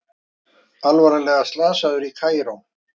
Alvarlega slasaður í Kaíró